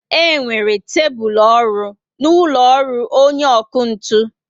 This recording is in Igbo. E nwere tébulu ọrụ na úlọ ọrụ onye ọkụ ntụ